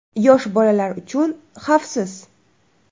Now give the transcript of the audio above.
Yosh bolalar uchun xavfsiz.